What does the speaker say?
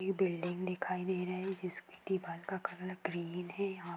ये बिल्डिंग दिखाई दे रहे हैजिसकी दीवाल का कलर ग्रीन हैयहां----